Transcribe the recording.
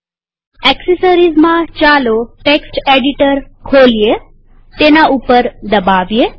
એક્સેસરીઝમાંચાલો text editor ખોલીએતેના ઉપર દબાવીએ